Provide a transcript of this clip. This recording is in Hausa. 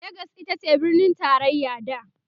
legas itace birnin taraya da